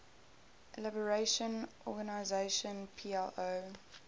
liberation organization plo